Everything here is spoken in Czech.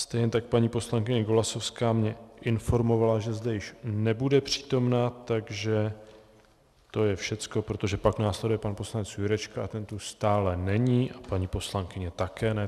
Stejně tak paní poslankyně Golasowská mě informovala, že zde již nebude přítomna, takže to je všechno, protože pak následuje pan poslanec Jurečka a ten tu stále není a paní poslankyně také ne.